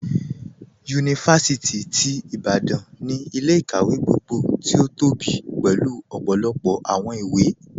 Yunifásìtì ti Ìbàdàn ni ilẹ̀-ikáwẹ̀ gbogbo tí o tóbí pélu ọpọlọpọ awọn ìwé.